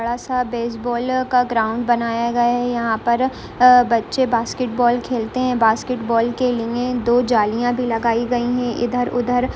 एक बड़ा सा बेसबॉल का ग्राउंड बनाया गया है यहा पर बच्चे बास्केटबॉल खेलते है बास्केटबॉल के लिए दो जालिया भी लगाई गई है इधर-उधर।